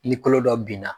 Ni kolo dɔ benna